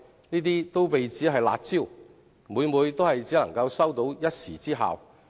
這些措施被指為"辣招"，但每每只能收一時之效。